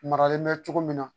Maralen bɛ cogo min na